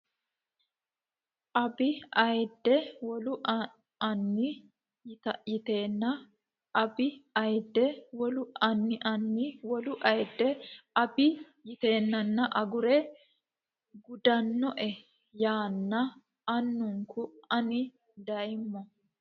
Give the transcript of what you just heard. abbe ayidde wolu Ani yiteenna abbe ayidde wolu Ani Ani wolu ayidde abbe yiteenna agure gudannoe yaanna anenku ane dayommo !